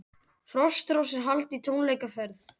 Frostrósir halda í tónleikaferð